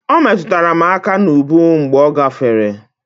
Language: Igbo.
O metụrụ m aka n'ubu mgbe ọ gafere.